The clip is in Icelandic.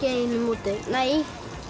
einu móti nei